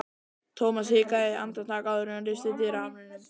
Thomas hikaði andartak áður en hann lyfti dyrahamrinum.